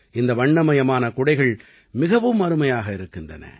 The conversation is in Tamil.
இந்த வண்ணமயமான குடைகள் மிகவும் அருமையாக இருக்கின்றன